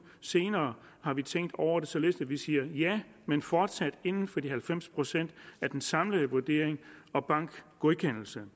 senere har vi tænkt over det således at vi siger ja men fortsat inden for de halvfems procent af den samlede vurdering og bankgodkendelse